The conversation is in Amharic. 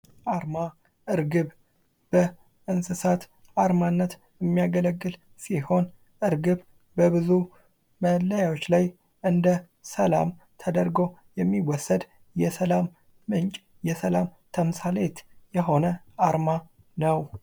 አርማ እርግብ በእንስሳት አርማነት የሚያገለግል ሲሆን እርግብ በብዙ መለያዎች ላይ እንደ ሠላም ተደርገው የሚወሰድ የሰላም ተምሳሌት የሆነ አርማ ነው::